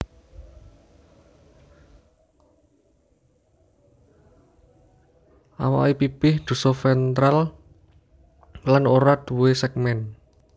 Awake pipih dosoventral lan ora duwé segmen